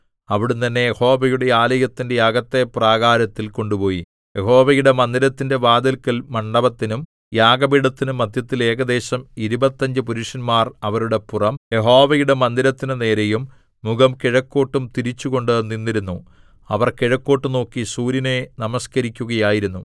അവിടുന്ന് എന്നെ യഹോവയുടെ ആലയത്തിന്റെ അകത്തെ പ്രാകാരത്തിൽ കൊണ്ടുപോയി യഹോവയുടെ മന്ദിരത്തിന്റെ വാതില്ക്കൽ മണ്ഡപത്തിനും യാഗപീഠത്തിനും മദ്ധ്യത്തിൽ ഏകദേശം ഇരുപത്തഞ്ച് പുരുഷന്മാർ അവരുടെ പുറം യഹോവയുടെ മന്ദിരത്തിന്റെ നേരെയും മുഖം കിഴക്കോട്ടും തിരിച്ചുകൊണ്ട് നിന്നിരുന്നു അവർ കിഴക്കോട്ടു നോക്കി സൂര്യനെ നമസ്കരിക്കുകയായിരുന്നു